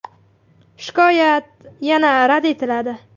Shikoyat yana rad etiladi.